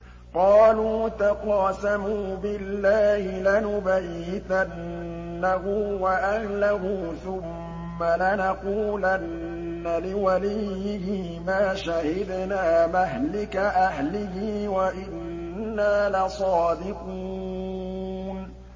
قَالُوا تَقَاسَمُوا بِاللَّهِ لَنُبَيِّتَنَّهُ وَأَهْلَهُ ثُمَّ لَنَقُولَنَّ لِوَلِيِّهِ مَا شَهِدْنَا مَهْلِكَ أَهْلِهِ وَإِنَّا لَصَادِقُونَ